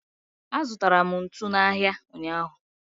azụtara m ntu n'ahịa ụnyaahụ.